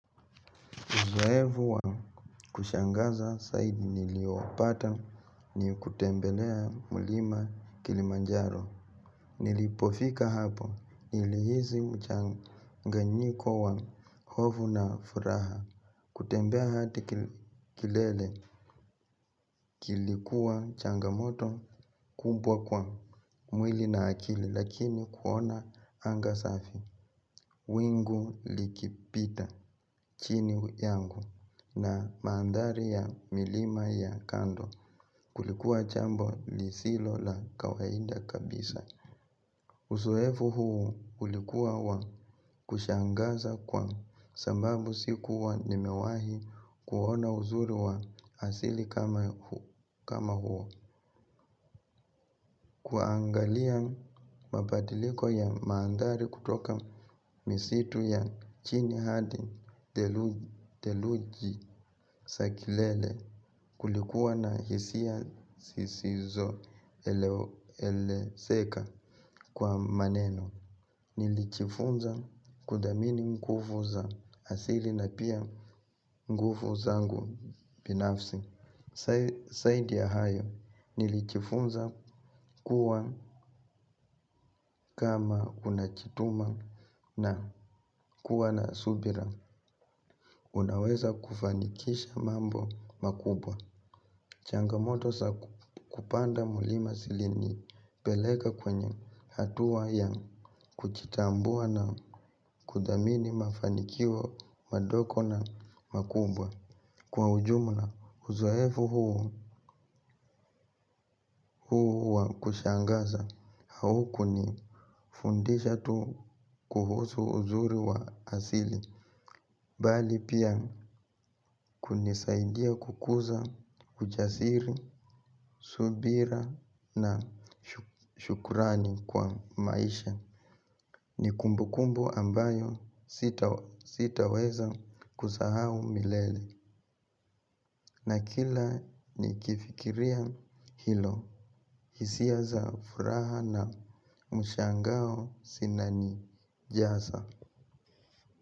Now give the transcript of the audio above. Uzoevu wa kushangaza saidi niliopata ni kutembelea mulima kilimanjaro. Nilipofika hapo nilihizi mchanganyiko wa hovu na furaha. Kutembea hati kilele kilikuwa changamoto kumbwa kwa mwili na akili lakini kuona anga safi. Wingu likipita chini yangu na maandari ya milima ya kando kulikuwa chambo lisilo la kawainda kabisa. Usoefu huu ulikuwa wa kushangasa kwa sambabu si kuwa nimewahi kuona uzuri wa asili kama huo. Kuangalia mabadiliko ya mandhari kutoka misitu ya chini hadi theluji sakilele kulikuwa na hisia sisizo ele seka kwa maneno. Nilichifunza kuthamini ngufu za asili na pia ngufu zangu binafsi. Saidi ya hayo nilichifunza kuwa kama unachituma na kuwa na subira. Unaweza kufanikisha mambo makubwa. Changamoto sa kupanda mulima silini peleka kwenye hatuwa ya kuchitambua na kudamini mafanikio madoko na makubwa. Kwa ujumla huzoefu huo huu wa kushangaza hauku ni fundisha tu kuhusu uzuri wa asili bali pia kunisaidia kukuza kujasiri, subira na shukurani kwa maisha. Ni kumbu kumbu ambayo sitaweza kusahau milele na kila nikifikiria hilo. Hisia za furaha na mshangao sinani jasa.